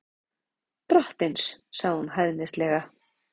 Drottins, sagði hún hæðnislega.